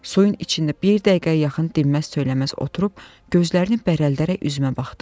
Suyun içində bir dəqiqəyə yaxın dinməz söyləməz oturub gözlərini bərəltdərəək üzümə baxdı.